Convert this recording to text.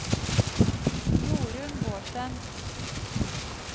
Jorun Bårdsen